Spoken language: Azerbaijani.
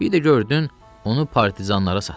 Bir də gördün onu partizanlara satdı.